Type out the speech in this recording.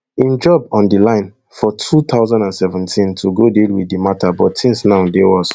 im job on di line for two thousand and seventeen to go deal wit di mata but tins now dey worse